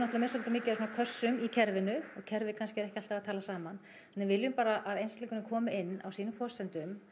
með svolítið mikið af svona kössum í kerfinu og kerfið kannski er ekki alltaf að tala saman við viljum bara að einstaklingurinn komi inn á sínum forsendum